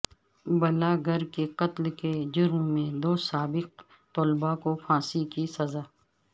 blogger کے قتل کے جرم میں دو سابق طلبہ کو پھانسی کی سزا